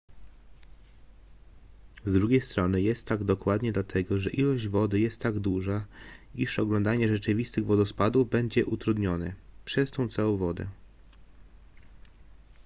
z drugiej strony jest tak dokładnie dlatego że ilość wody jest tak duża iż oglądanie rzeczywistych wodospadów będzie utrudnione przez tę całą wodę